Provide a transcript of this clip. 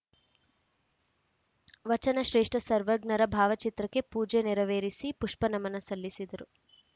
ವಚನ ಶ್ರೇಷ್ಠ ಸರ್ವಜ್ಞರ ಭಾವಚಿತ್ರಕ್ಕೆ ಪೂಜೆ ನೆರವೇರಿಸಿ ಪುಷ್ಪ ನಮನ ಸಲ್ಲಿಸಿದರು